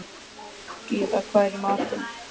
Gyða, hvað er í matinn?